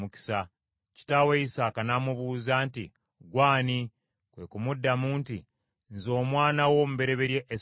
Kitaawe Isaaka n’amubuuza nti, “Gwe ani?” Kwe kumuddamu nti, “Nze omwana wo omubereberye Esawu.”